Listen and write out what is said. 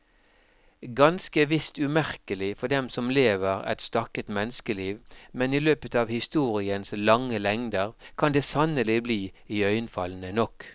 Ganske visst umerkelig for den som lever et stakket menneskeliv, men i løpet av historiens lange lengder kan det sannelig bli iøynefallende nok.